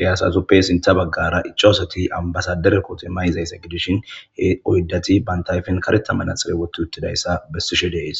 eyasazuppe sintha baggara iccoosoti ambasadere kootu may'izaysse gidishin he oydati bantayfen kareta manaxile wottu uttidayssa bessishe deys.